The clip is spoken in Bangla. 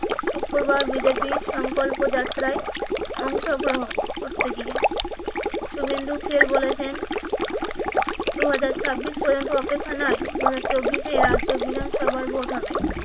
শুক্রবার বিজেপি সংকল্প যাত্রায় অংশগ্রহন করতে গিয়ে শুভেন্দু ফের বলেছেন দু হাজার ছাব্বিশ পর্যন্ত অপেক্ষা নয় দুই হাজার চব্বিশ এ রাজ্য বিধানসভার ভোট হবে